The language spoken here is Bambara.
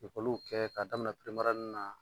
Lekɔliw kɛ ka daminɛ na